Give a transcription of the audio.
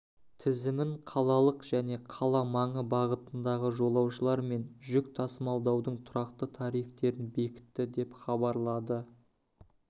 тізімін қалалық және қала маңы бағытындағы жолаушылар мен жүк тасымалдаудың тұрақты тарифтерін бекітті деп хабарлады